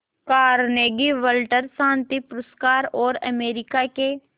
Carnegie वटलर शांति पुरस्कार और अमेरिका के